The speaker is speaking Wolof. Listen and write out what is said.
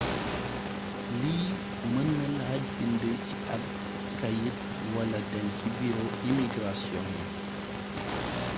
lii mën na laaj bind ci ab kayit wala dem ci buro imigrasion yi